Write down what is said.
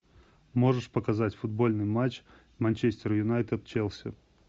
можешь показать футбольный матч манчестер юнайтед челси